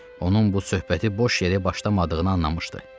Onun bu söhbəti boş yerə başlamadığını anlamışdı.